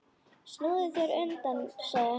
Snúðu þér undan, sagði hún.